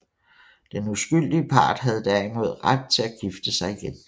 Den uskyldige part havde derimod ret til at gifte sig igen